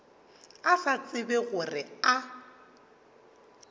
a sa tsebe gore a